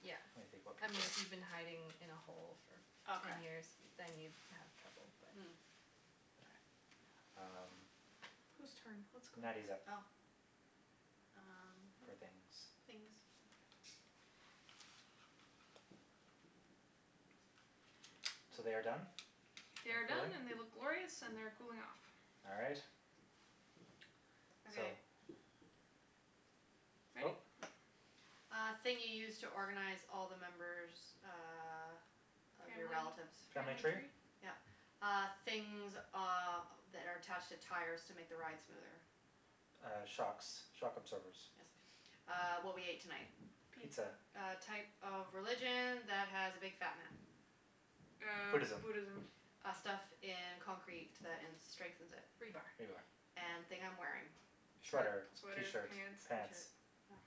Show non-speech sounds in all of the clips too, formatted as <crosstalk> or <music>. Yeah. when you think about I mean, people. if you've been hiding in a hole for ten Okay. years, then you'd have trouble, but. Mm. Yeah. Kay. Um, Who's turn? What's going Natty's up Oh. <inaudible> Um, for things, things. okay. So they are done They and are done cooling? and they look glorious and they're cooling off. All right. So. Okay. Ready? Go. <noise> Uh thing you use to organize all the members uh of your Family relatives. Family family tree? tree? Yeah. Uh, things, uh, that are attached to tires to make the ride smoother. Uh, shocks, shock absorbers. Yes. Uh, what we ate tonight. Pizza. Pizza. A type of religion that has a big fat man. Uh, Buddhism. Buddhism. Uh, stuff in concrete that in strengthens it. Rebar. Rebar, yeah. And thing I'm wearing. Shirt, Sweater, sweater, t-shirt, pants. pants. t-shirt, yeah.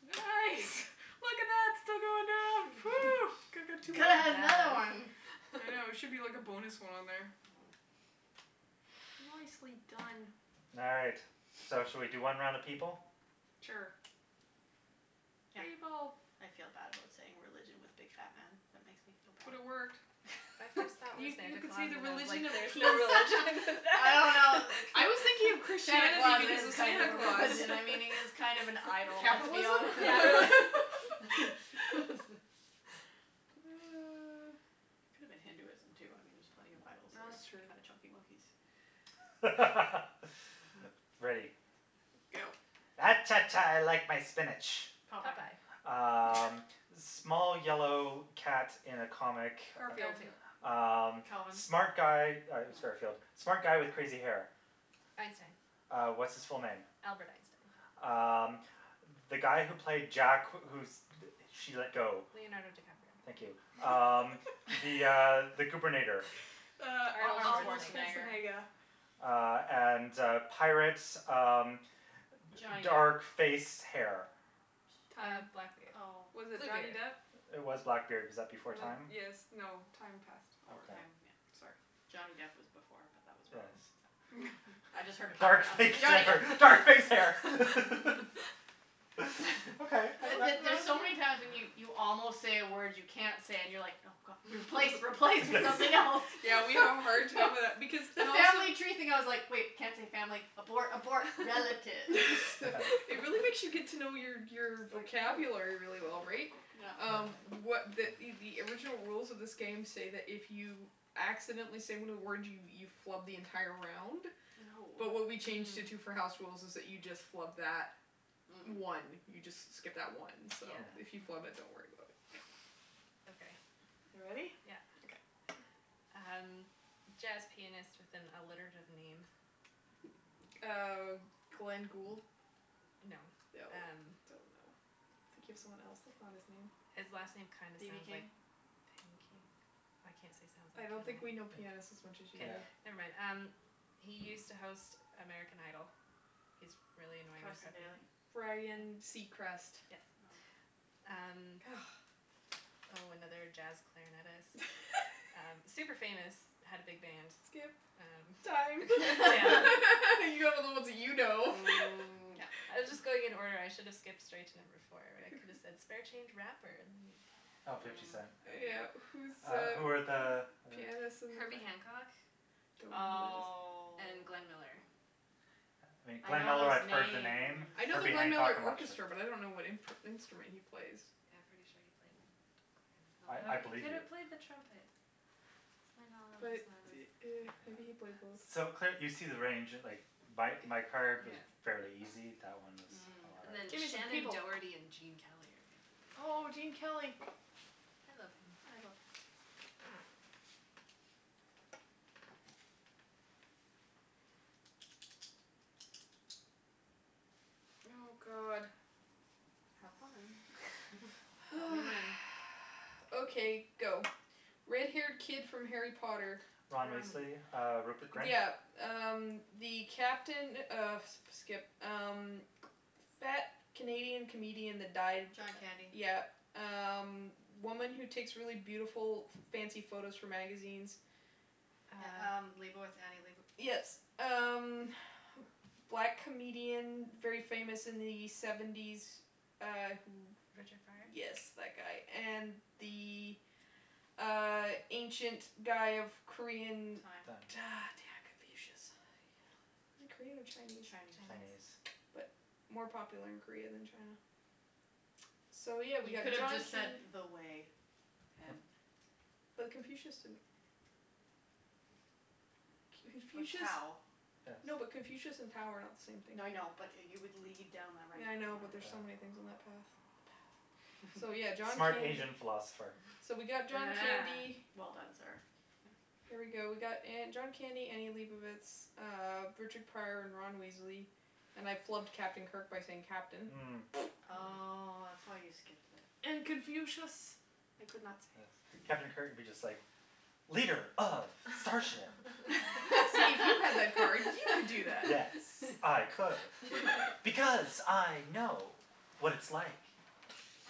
Nice! Look at that, still going down. Phew. <laughs> Could've Well had another done. one. <laughs> I know, there should be like a bonus one on there. Mm. Nicely done. All right, so should we do one round of people? Sure. Yeah. People. I feel bad about saying religion with big fat man. That makes me feel bad. But it worked. My first thought was You you Santa could say Claus the and I was like religion of there's no peace. religion for <laughs> I that. don't know, it I was thinking of Santa Christianity Claus because is of kind Santa of a Claus. religion, I mean, he is kind of an idol, let's be honest. <laughs> Capitalism? Yeah, really <laughs> <laughs> <laughs> Could've been Hinduism, too, I mean, there are plenty of idols that That's are true. kind of chunky monkeys. <laughs> Ready. Go. Ah cha, cha, I like my spinach. Popeye. Popeye. Um, <laughs> small yellow cat in a comic. Garfield. Mm. Garfield. Um, Calvin. smart guy- yeah it was Garfield- No. smart guy with crazy hair. <inaudible> Einstein. Uh, what's his full name? Albert Einstein. Um, the guy who placed Jack who she let go. Leonardo DiCaprio. Thank you. <inaudible> Um the, uh, <laughs> the goobernator. <laughs> Uh, Arnold Arnold Arnold Schwarzenegger. Schwarzenegger. Schwarzenegger. Uh, and, uh, pirates, um, d- Johnny dark Depp. face, hair. Uh, Time. blackbeard. Oh. Was it Johnny Bluebeard. Depp? It was Blackbeard. Was that before time? Yes, Ah. no, time past already. Okay. Time, yeah. Sorry. Johnny Depp was before, but that was wrong, Yes. so. I just heard Dark pirate, I'm like, face Johnny Depp. <laughs> hair, dark face hair <laughs> <laughs> <laughs> The K, the there's so many that's times when you five. you almost say a word you can't say and you're like, no, god, replace, replace with something else. <laughs> <laughs> <laughs> Yeah, we all have a hard time with that because <laughs> The and also family tree thing, I was like, wait, can't say family, abort, abort. <laughs> Relatives It <inaudible> really <laughs> makes you get to know your <laughs> your Like vocabulary really well, right? Um, <inaudible> <noise> what <noise> the the original rules of this game say that if you accidentally say one of the words, you you flub the entire round, but what Oh. we changed it to for Mm. house rules is that you just flub that one. Mm. You just s- skip that one, so if you Mm. Yeah. flub it, don't worry about it. Okay. You ready? Yeah. Okay. Um, jazz pianist with an alliterative name. Uh, Glenn Gould? No, No, um. don't know. I'm thinking of someone else. That's not his name. His last name kind of BB sounds like King? pancake. I can't say sounds I like, don't think we know can I? pianists as much as you <noise> K. Yeah. do. Never mind. Um, he used to host American Idol. He's really annoying and Carson preppy. Daly. Ryan Seacrest. Yes. Oh. Um. <noise> Oh, another jazz clarinetist. Super famous, had a <laughs> big band. Skip. Time. Um, yeah. <laughs> You got <laughs> all the ones that you know. Mm, yep. I was just going in order. I should have <laughs> skipped straight to number four where I could have said spare change rapper and then you'd get it. Oh, Fifty Cent. Mm. Yeah. Who's Uh, who were the the other? pianist and the cla- Herbie Hancock Don't know who that is. Oh. and Glenn Miller. I Glenn know Miller, those I've heard the names. name. I know the Herbie Glenn Hancock, Miller I'm not sure. Orchestra, but I don't know what imp- instrument he plays. Yeah, I'm pretty sure he played clarinet, I I although he believe could you. have played the trumpet. My knowledge But is not as, yeah. <inaudible> maybe he Yeah. played both. So, cl- you see the range. Like, my my card was fairly Yeah. easy; that one was a Mm. lot And then Give me some Shannon harder. people. Doherty and Gene Kelly are the other Oh, ones. Gene Kelly. I love him. I love him, too. Oh, god. Have fun. <noise> <noise> Tell me Oh. when. Okay, go. Red haired kid from Harry Potter. Ron Ron Weasley, Weasley. uh, Rupert Grint? Yeah. Um, the captain of skip. Um, fat Canadian comedian that died. John Candy. Yeah. Um, woman who takes really beautiful, f- fancy photos for magazines. Yeah Uh. um, Leibovitz, Annie Leibo- Yes. Um, black comedian, very famous in the seventies, uh, who. Richard Pryor? Yes, that guy. And the, uh, ancient guy of Korean. Time. Time. <inaudible> damn. Confucius. Is he Korean or Chinese? Chinese. Chinese. But Chinese. more popular in Korea than China. So, yeah, we You got could've John just said Can- the way. <inaudible> But Confucius didn't. Or Confucius. Tao. No, but Yes. Confucius and Tao are not the same thing. No, I know, but you would lead down the right Yeah, I know, but there's Yeah. so many <inaudible> things on that path. The path. So, yeah, John Smart Candy. Asian philosopher. <laughs> So we got John Ah, <laughs> Candy. well done, sir. There we go. We got uh John Candy, Annie Leibovitz, uh, Richard Pryor and Ron Weasley. And I flubbed Captain Kirk by saying captain. Mm. Oh, Mm. that's why you skipped it. And Confucius I could not Yes, say. Captain Kirk would be just like leader of starship. <laughs> See, if you had that card, you could do that. Yes, I could <laughs> <laughs> because I know <laughs> what it's like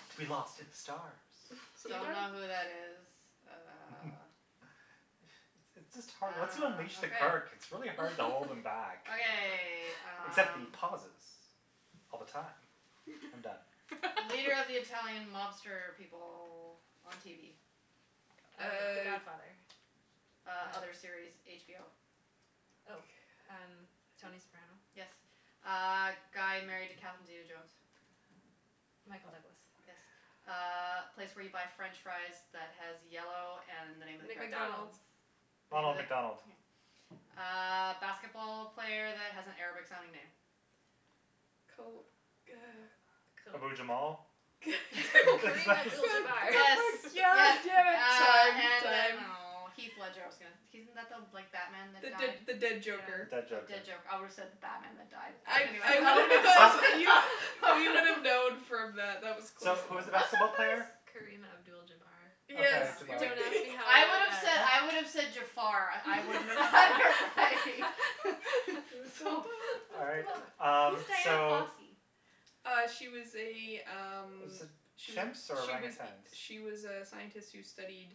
to be lost in the stars. So you Don't m- know who that is. <laughs> Uh. <laughs> It's it's just hard Once you Ah, unleash the okay. Kirk, it's really hard to hold him back. <laughs> Okay, Except the um. pauses all the time. I'm done. Leader of the <laughs> Italian mobster people on TV. Uh, the Uh. Godfather. Uh, Oh. other series, HBO. God. Oh, um, I don't Tony Soprano. Yes. Uh, guy married to Catherine zeta-jones. Michael Douglas. Yes. Uh, place where you buy French fries that has yellow and the name of the character. McDonald's. McDonald's. Name of Ronald the McDonald. yeah Uh basketball player that has an Arabic sounding name. Kobe, uh Ke- Abu Jamal? K- Karim <laughs> Abdul <laughs> Jabbar. Yes, <inaudible> <inaudible> yes. yeah, <inaudible> Uh, time, and then, time. oh, Heath Ledger, I was gonna he isn't like the Batman that The the died? the dead The joker. Yeah. dead Oh, joker. dead joker. I would have said the Batman that died, but I anyways, I that would have been close enough <laughs> <inaudible> We would have <laughs> known from that. <laughs> That was close So, who was enough. the I'm basketball player? surprised Kareem Abdul Jabbar. Yes Okay, Jabar. Don't ask <laughs> Yeah. me how I I know would have that. said, I would have said Jafar. I wouldn't have bothered by <laughs> <laughs> It was so so All right, <laughs> bad. <inaudible> um, Who's Dian so. Fossey? Uh, she was a, um, Was it she was, chimps or she was, orangutans? she was a scientist who studied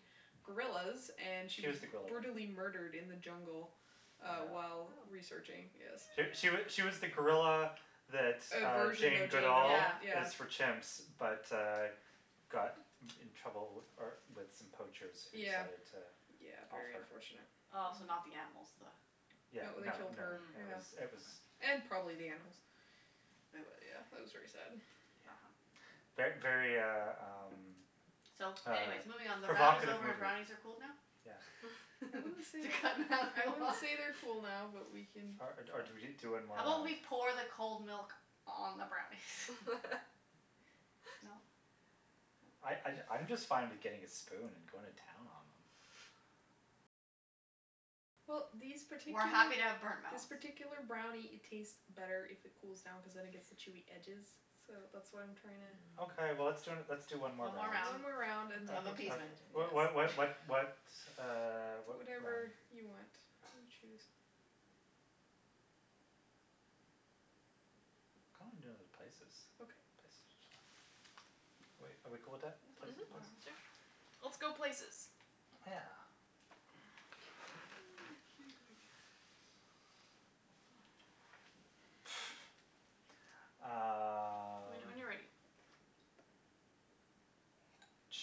gorillas and she She was was the gorilla one. brutally murdered in the jungle uh while Yeah. researching, Oh. yes. She she she was the gorilla <noise> that A uh version Jane of Jane Goodall Duvall, Yeah. yeah. is for chimps but, uh, got in trouble uh with some poachers who Yeah. decided to Yeah, off very her. unfortunate. Oh, so Mm. not the animals, the No, Yeah, they no, killed no, her, Mm, it yeah. was, it was. okay. And probably the animals. But Boo. wa- yeah, that was very sad. Not fun. Yeah. Ver- very, uh, um, So, um anyways, moving on. The round is provocative over and movie. brownies are cooled now? Yeah. I <laughs> wouldn't say To they're, <laughs> cut I Natalie wouldn't off <laughs> say they're cool now, but we can. Or or do we do one How more about round? we pour the cold milk on the brownies? <laughs> No? I No? I I'm just fine with getting a spoon and going to town on them. Well, these We're particular, happy to have burnt this mouth. particular brownie, it tastes better if it cools down cuz then it gets the chewy edges, so that's why I'm trying to. Okay, well, let's d- let's do one more One more round One round more Mm. round and then, of uh uh of appeasement. What what what yes. what what, <inaudible> <laughs> uh, what one? Whatever you want, you choose. Kinda wanna do places. Okay. Places are fun. Are we are we cool with that, That's Mhm, places, fine, places? sure. whatever. Whatever. Let's go places. Yeah. <noise> Excuse me. <inaudible> Let me know Um. when you're ready.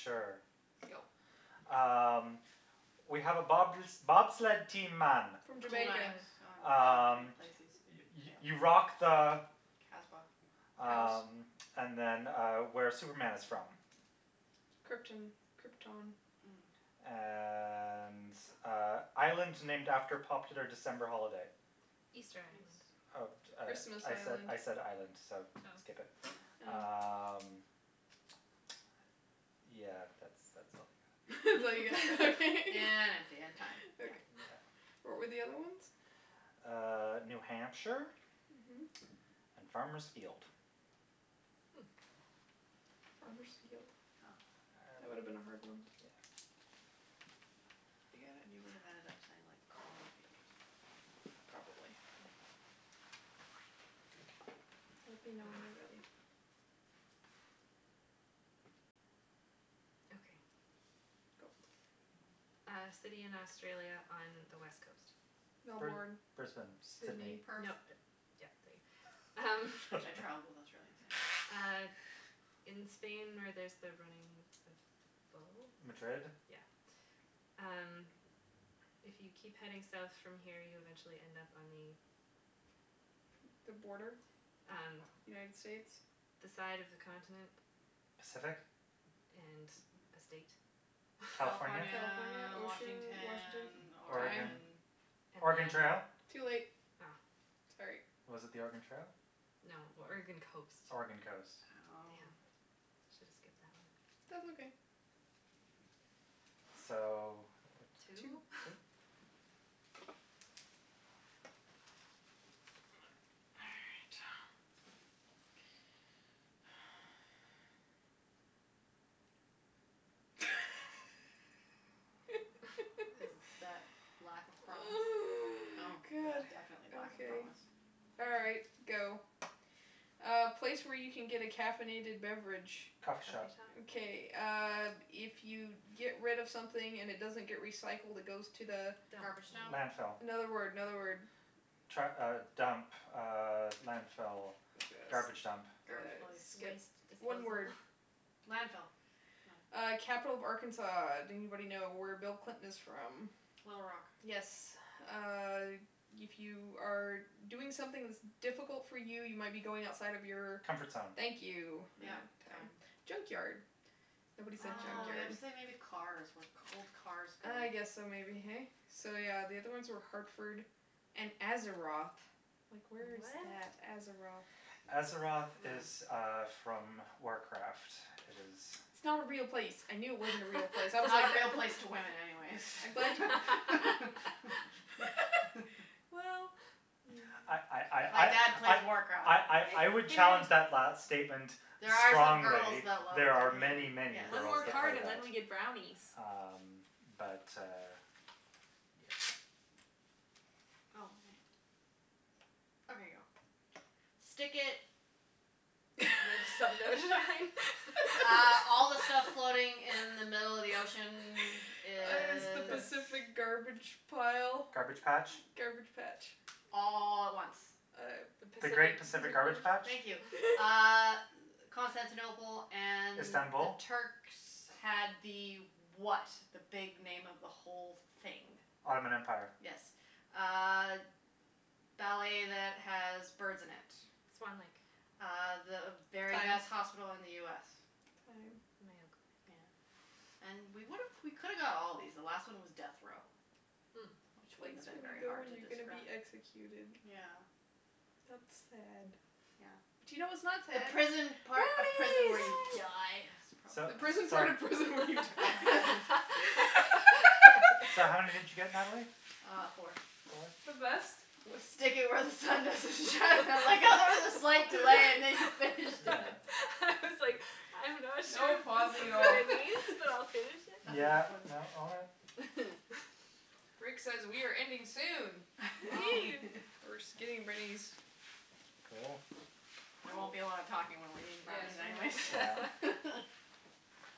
Sure. Go. Um, we have a bob- bobsled team, man. From Cool Jamaica. runnings. Jamaica. Oh, right, Um, places. you you Fail. you rock the Kasbah. House. Um, and then, uh, where Superman is from. Krypton. Krypton. Mm. And, uh, island named after popular December holiday. Easter Island. Eas- Uh, uh, Christmas I Island. said island, so skip Oh. it. <noise> Mm. Oh. Um, yeah, that's that's all I got. <laughs> That's all you get. Okay. <laughs> empty and time. Yeah. Okay. Yeah. What were the other ones? Uh, New Hampshire Mhm. and Farmer's Field. Hmm. Farmer's Field? Oh. That would have been a hard one. Yeah. You got it? You would have ended up saying like corn field or something. Probably. Mm. Let me know when you're ready. Okay. Go. Uh, city in Australia on the West coast. Br- Melbourne, Brisbane, Sydney. Sydney. Nope, Perth. yeah. <inaudible> Um, I travelled in Australia, so. uh, in Spain where there's the running of the Madrid? bulls. Yeah. Um, if you keep heading South from here, you eventually end up on the The border? Um, United States? the side of the continent. Pacific? And the state. California? California, California, ocean, Washington? Washington, Time. Oregon? Oregon. Oregon And then. Trail? Too late. Oh. Sorry. Was it the Oregon Trail? No, Oregon coast. Oregon coast. Damn, I Oh. Oh. should have skipped that one. That's okay. So, what, Two. Two? two? All right. <laughs> Is that lack of promise? Oh, Oh, yeah, god. definitely lack of Okay. promise. All right, go. A place where you can get a caffeinated beverage. Coffee Coffee shop. shop. Okay, uh, if you get rid of something and it doesn't get recycled, it goes to the Dump. Garbage dump. Landfill. Another word, another word. Tru- uh, dump, uh, landfill, garbage dump. Garbage <inaudible> place. Skip. Waste One disposal. word. Landfill. No. Uh, capital of Arkansas. Do anybody know where Bill Clinton is from? Little Rock. Yes. Uh, if you are doing something that's difficult for you, you might be going outside of your Comfort zone. Thank you. Yep, Uh time. time. Junkyard. Nobody said Oh, you have junkyard. to say Oh. maybe cars, where old cars go. Ah, yes, so maybe, hey? So, yeah, the other ones Hmm. were Hartford and Azeroth. Like, where is What? that? Azeroth? Azeroth Mm. is, uh, from Warcraft. It is. It's not a real place. I knew it wasn't a real place. I was Not like a real place to women, anyways <laughs> I'm glad <laughs> <laughs> Well, I I yeah. My I dad plays I I Warcraft. I I Hey, I would hey, challenge that last Nattie. statement There are some girls strongly. that love There are the many, game, many yes, One girls more that card play and then that. we yes. get brownies. Um, but, uh, yeah. Oh, ma- Okay, Okay, go. go. Stick it. Where the sun don't shine? <laughs> Uh all the stuff floating <laughs> in the middle of the ocean Is the is. Pacific That's. garbage pile? Garbage patch. Garbage patch? All at once. Uh. The The great Pacific. Pacific garbage patch. Thank you. Uh, <laughs> <laughs> Constantinople and the Istanbul? Turks had the what, the big name of the whole thing? Ottoman Empire. Yes. Uh, ballet that has birds in it. Swan Lake. Uh, the very Time. best hospital in the US. Time. Mayo Clinic. Yeah. And we would've, we could've got all of these. The last one was death row, Hmm. which The wouldn't place have been you very go hard when to you're gonna describe. be executed. Yeah. That's sad. Yeah. But you know what's not The sad? prison part of prison Brownies. where you die. <inaudible> Yay! So, The prison part so. of prison when you die. <laughs> So how many did <laughs> you <laughs> get, Natalie? Uh, four. Four? The best. Was stick it where the sun doesn't shine. I like how there was a slight delay and then you finished Yeah. it. <laughs> I was like, <laughs> I'm not sure No if this pausing at is what all. it means, but I'll finish <laughs> it. That was Yeah, funny. no, all right. <laughs> Rick says we are ending soon. Well, Woohoo. <laughs> we're just getting rid of these. Cool. There won't be a lot of talking when we're eating Yes, brownies, we're not anyways. Yeah. <laughs> <laughs>